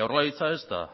jaurlaritza ez da